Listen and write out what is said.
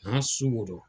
N'a sukoro don